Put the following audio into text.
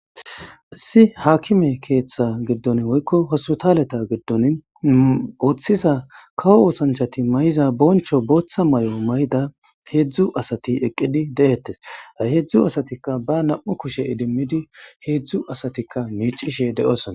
isi haakime keeththa giddon woykko hospitaleta giddon ooththisa kawo oosanchati mayiza boncho booththa mayo mayida heedzdzu asati eqqidi de'ettes a heedzdzu asatikka ba nam'u kushe idimmidi heedzdzu asatikka miicishe de'osona